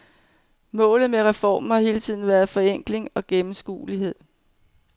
Målet med reformen har hele tiden været forenkling og gennemskuelighed.